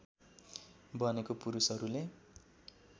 बनेको पुरूषहरूले